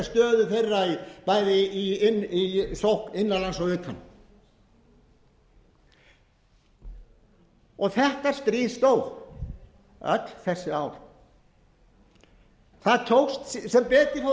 stöðu þeirra í sókn bæði innan lands og utan þetta stríð stóð öll þessi ár það tókst sem betur fór af því að ég sé að hér